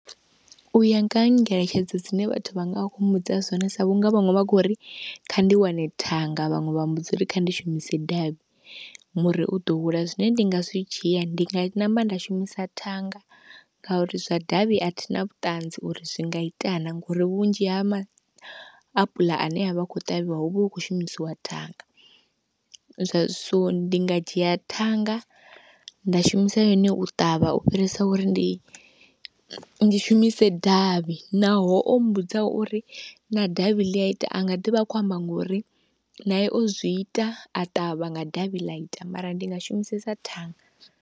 U ya nga ha ngeletshedzo dzine vhathu vha nga vha khou mbudza zwone sa vhunga vhaṅwe vha khou ri kha ndi wane thanga, vhaṅwe vha mmbudza uri kha ndi shumise davhi muri u ḓo hula. Zwine ndi nga zwi dzhia ndi nga namba nda shumisa thanga ngauri zwa davhi a thi na vhuṱanzi uri zwi nga ita na ngori vhunzhi ha mapula ane a vha a khou ṱavhiwa hu vha hu khou shumisiwa thanga, so ndi nga dzhia thanga nda shumisa yone u ṱavha u fhirisa uri ndi, ndi shumise davhi, naho o mmbudza uri na davhi ḽi a ita a nga ḓi vha a khou amba ngori naye o zwi ita a ṱavha nga davhi ḽa ita, mara ndi nga shumisesa thanga.